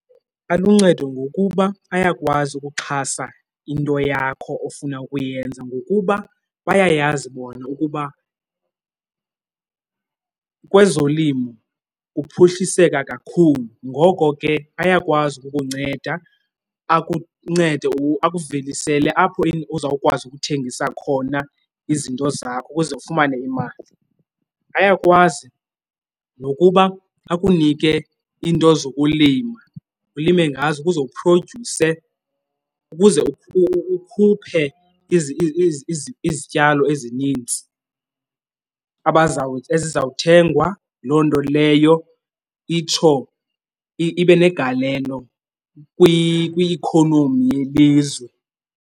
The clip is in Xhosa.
Aluncedo ngokuba ayakwazi ukuxhasa into yakho ofuna ukuyenza ngokuba bayayazi bona ukuba kwezolimo kuphuhliseka kakhulu, ngoko ke ayakwazi ukukunceda. Akuncede akuvelisele le apho uzawukwazi ukuthengisa khona izinto zakho ukuze ufumane imali. Ayakwazi nokuba akunike iinto zokulima, ulime ngazo ukuze uphrodyuse, ukuze ukhuphe izityalo ezininzi ezizawuthengwa. Loo nto leyo itsho ibe negalelo kwi-ikhonomi yelizwe.